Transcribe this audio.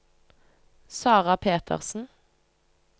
Sarah Petersen